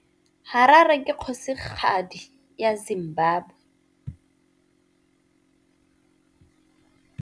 Harare ke kgosigadi ya Zimbabwe.